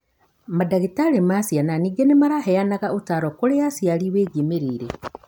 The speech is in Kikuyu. Mandagĩtarĩ ma ciana ningĩ nĩmaheanaga ũtaaro kũrĩ aciari wĩgiĩ mĩrĩĩre